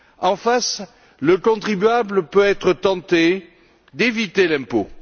En face, le contribuable peut être tenté d'éviter l'impôt.